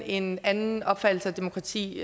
en anden opfattelse af demokrati